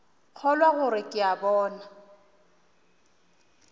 kgolwa gore ke a lora